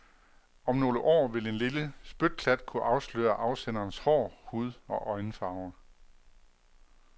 Om nogle år vil en lille spytklat kunne afsløre afsenderens hår-, hud- og øjenfarve.